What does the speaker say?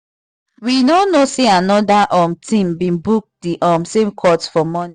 we no know say another um team been book the um same court for morning